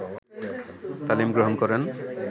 তালিম গ্রহণ করেন